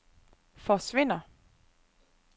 forsvinder